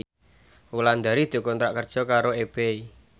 Wulandari dikontrak kerja karo Ebay